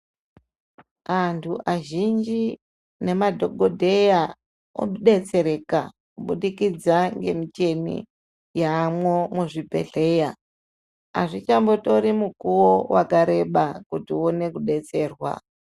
Antu azhinji nemadhokoteya odetsereka kubudikidza ngemichini yamwo muzvibhedhlera azvichambotori mukuwo wakareba kuti uone kudetserwa.